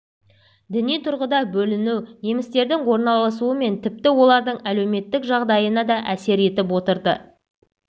діни тұрғыда бөліну немістердің орналасуы мен тіпті олардың әлеуметтік жағдайына да әсер етіп отырды